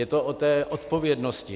Je to o té odpovědnosti.